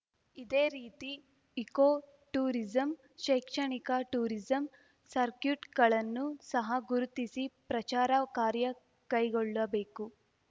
ಇದೇ ರೀತಿ eco tourism ಶೈಕ್ಷಣಿಕ ಟೂರಿಸಂ ಸಕ್ರ್ಯೂಟ್‌ಗಳನ್ನು ಸಹ ಗುರುತಿಸಿ ಪ್ರಚಾರ ಕಾರ್ಯ ಕೈಗೊಳ್ಳಬೇಕು